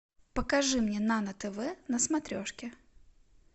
покажи мне нано тв на смотрешке